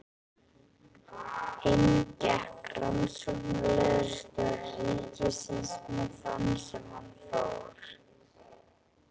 Inn gekk rannsóknarlögreglustjóri ríkisins með þann sem fór.